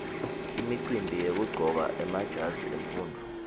imicimbi yekuqcoka emajazi emfundvo